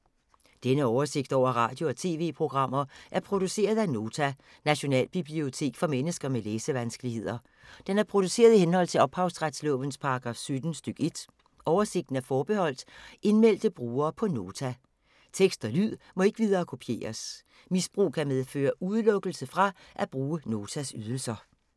Denne oversigt over radio og TV-programmer er produceret af Nota, Nationalbibliotek for mennesker med læsevanskeligheder. Den er produceret i henhold til ophavsretslovens paragraf 17 stk. 1. Oversigten er forbeholdt indmeldte brugere på Nota. Tekst og lyd må ikke viderekopieres. Misbrug kan medføre udelukkelse fra at bruge Notas ydelser.